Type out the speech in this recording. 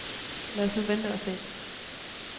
Lad os nu vente og se.